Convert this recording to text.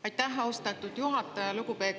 Aitäh, austatud juhataja!